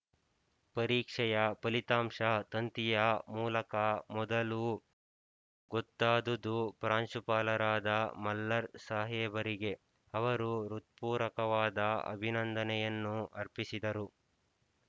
ಪರೀಕ್ಷೆಯ ಫಲಿತಾಂಶ ತಂತಿಯ ಮೂಲಕ ಮೊದಲು ಗೊತ್ತಾದುದು ಪ್ರಾಂಶುಪಾಲರಾದ ಮಲ್ಲರ್ ಸಾಹೇಬರಿಗೆ ಅವರು ಹೃತ್ಪೂರ್ವಕವಾದ ಅಭಿನಂದನೆಯನ್ನು ಅರ್ಪಿಸಿದರು